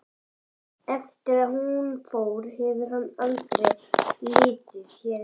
Eftir að hún fór hefur hann aldrei litið hér inn.